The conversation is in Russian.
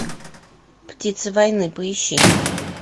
птица войны поищи